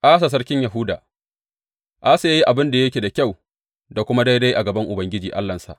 Asa sarkin Yahuda Asa ya yi abin da yake da kyau da kuma daidai a gaban Ubangiji Allahnsa.